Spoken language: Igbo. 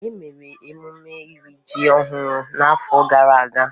E mere emume iri ji ọhụrụ n'afọ gara aga.